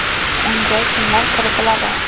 Unga kimlar kiritiladi?